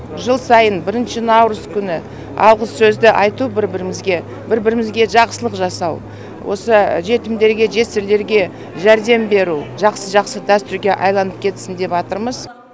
жыл сайын бірінші наурыз күні алғыс сөзді айту бір бірімізге бір бірімізге жақсылық жасау осы жетімдерге жесірлерге жәрдем беру жақсы жақсы дәстүрге айналып кетсін деватырмыз